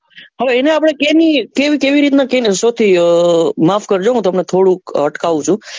હવે એની આપડે કેની કેવી રીત નાં કઈ નસો થી માફ કરજો હું તમને થોડુક અટકવું છું.